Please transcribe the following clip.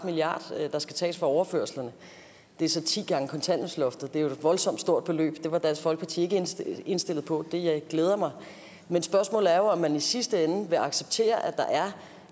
milliard kr der skal tages fra overførslerne det er så ti gange kontanthjælpsloftet det er et voldsomt stort beløb at det var dansk folkeparti ikke indstillet indstillet på og det glæder mig men spørgsmålet er jo om man i sidste ende vil acceptere at der er